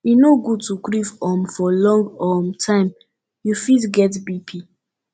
e no good to grief um for long um time you fit get bp